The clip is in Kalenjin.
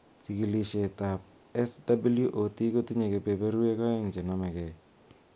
Chikilishet ab SWOT kotinye keberberwek a'eng chenome gei